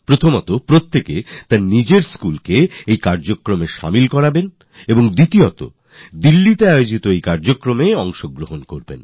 প্রথমত নিজের স্কুল থেকেই এই কর্মসুচিতে অংশগ্রহণ দ্বিতীয়ত এখানে দিল্লিতে আয়োজিত কর্মসুচিতে অংশগ্রহণ